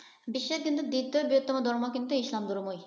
বিশ্বের কিন্তু দ্বিতীয় বৃহত্তম ধর্ম কিন্তু ইসলাম ধর্মই।